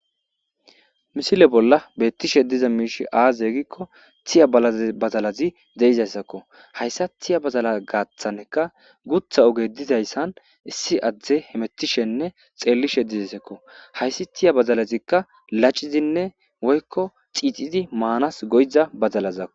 Missile bolla beettishe diza miishe aaze gikko tiya badaalazi deizayssakko hayssa tiya badalaza gaathaneka gutha ogge dizayssan issi addezi hemettishenne xeellishe dizaysakko hayssi tiya badalazikka lacizanne woykko xiixi maanasi go7iza badalazakko.